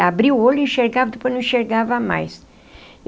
Abri o olho e enxergava, depois não enxergava mais.